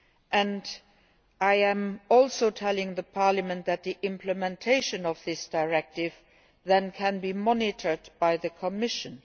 And I am also telling the Parliament that the implementation of this directive can then be monitored by the Commission.